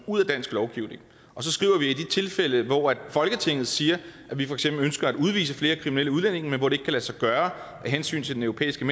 ud af dansk lovgivning og så skriver vi at i de tilfælde hvor folketinget siger at vi for eksempel ønsker at udvise flere kriminelle udlændinge men hvor det ikke kan lade sig gøre af hensyn til den europæiske